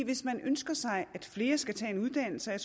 hvis man ønsker sig at flere skal tage en uddannelse og